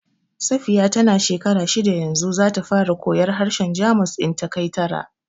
Safiya ta na shekara shidda yanzu, za ta fara koyar harshen Jamus in ta kai tara